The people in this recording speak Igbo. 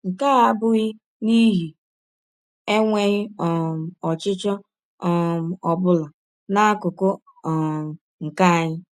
Nke a abụghị n’ihi enweghị um ọchịchọ um ọ bụla n’akụkụ um nke anyị.